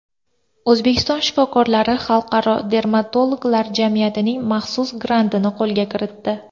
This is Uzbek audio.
O‘zbekiston shifokorlari Xalqaro dermatologlar jamiyatining maxsus grantini qo‘lga kiritdi.